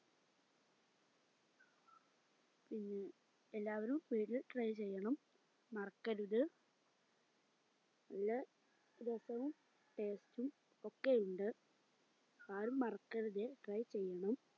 മ് എല്ലാവരും try ചെയ്യണം മറക്കരുത് നല്ല രസവും taste ഉം ഒക്കെ ഉണ്ട് ആരും മറക്കരുത് try ചെയ്യണം